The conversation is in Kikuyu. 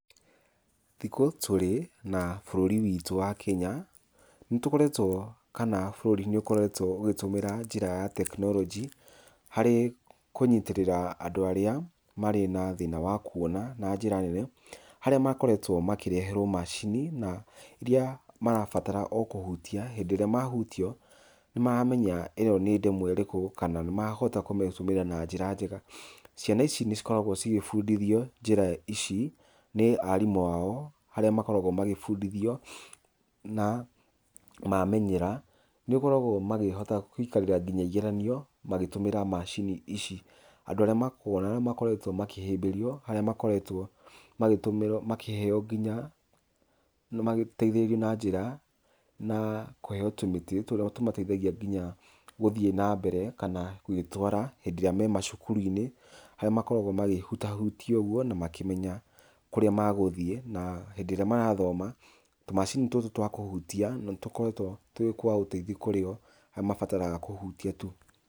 Thikũ tũrĩ na bũrũri witũ wa Kenya, nĩ tũkoretwo kana bũrũri nĩ ũkoretwo ũgĩtũmĩra njĩra ya technology harĩ kũnyitĩrĩra andũ arĩa marĩ na thĩna wa kũona na njĩra nene, haria makoretwo makĩreherwo macini iria marabatara o kũhutia. Hĩndĩ irĩa mahutia o nĩ maramenya ĩno nĩ ndemwa ĩrĩkũ kana nĩ marahota kũmĩtũmĩra na njĩra njega. Ciana ici nĩ cikoragwo cigĩbundithio njĩra ici nĩ arimũ ao arĩa makoragwo magĩbundithio na mamenyera. Nĩ ũkoraga o magĩhota kũikarĩra nginya igeranio magĩtũmĩra macini ici. Andũ arĩa makũona na makoretwo makĩhĩmbĩrio, harĩa makoretwo makĩtũmĩrwo makĩheo nginya, magĩteithĩrĩrio na njĩra na kũheo tũmĩtĩ tũrĩa o tũmateithagia nginya gũthiĩ nambere kana gwĩtwara hĩndĩ ĩrĩa me macukuru-inĩ harĩa makoragwo magĩhutahutia ũguo na makĩmenya kũrĩa magũthiĩ. Na hĩndĩ ĩrĩa marathoma tũmacini tũtũ twa kũhutia nĩ tũkoretwa twĩ twa ũteithio kũrĩ o, harĩa mabataraga kũhutia tu.